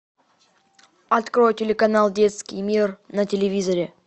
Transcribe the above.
открой телеканал детский мир на телевизоре